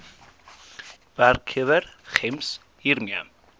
werkgewer gems hiermee